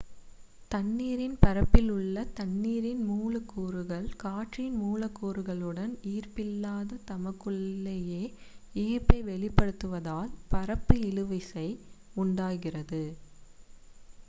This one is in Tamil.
தண்ணீரின் பரப்பில் உள்ள தண்ணீரின் மூலக்கூறுகள் காற்றின் மூலக்கூறுகளுடன் ஈர்ப்பில்லாது தமக்குள்ளேயே ஈர்ப்பை வெளிப்படுத்துவதால் பரப்பு இழுவிசை உண்டாகிறது